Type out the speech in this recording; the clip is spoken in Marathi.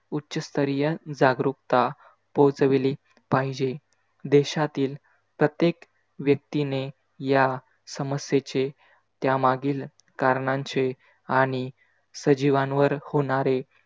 उच्चस्तरीय जागरूकता पोहचविली पाहिजे देशातील प्रत्येक व्यक्तीने या समस्येचे त्यामागील कारणांचे आणि सजीवांवर होणारे